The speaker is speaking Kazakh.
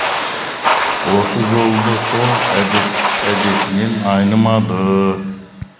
осы жолы да сол әдетінен айнымады